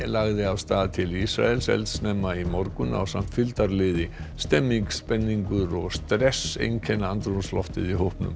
lagði af stað til Ísraels eldsnemma í morgun ásamt fylgdarliði stemmning spenningur og stress einkenna andrúmsloftið í hópnum